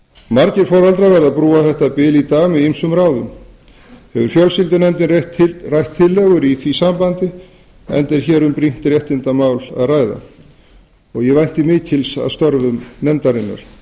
margir foreldrar verða að brúa þetta bil í dag með ýmsum ráðum hefur fjölskyldunefndin rætt ýmsar tillögur í því sambandi enda er hér um brýnt réttindamál að ræða vænti ég mikils af störfum nefndarinnar